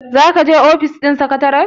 za ka je ofis ɗin sekatare?